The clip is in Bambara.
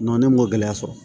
ne m'o gɛlɛya sɔrɔ